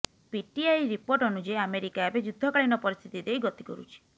PTI report ଅନୁଯାୟୀ ଆମେରିକାଏବେ ଯୁଦ୍ଧକାଳୀନ ପରିସ୍ଥିତି ଦେଇ ଗତି କରୁଛି